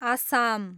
Assam